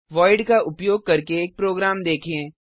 void का उपयोग करके एक प्रोग्राम देखें